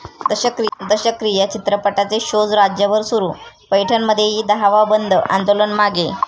दशक्रिया' चित्रपटाचे शोज राज्यभर सुरू, पैठणमध्येही 'दहावा बंद' आंदोलन मागे!